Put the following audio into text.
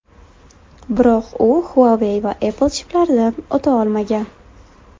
Biroq u Huawei va Apple chiplaridan o‘ta olmagan.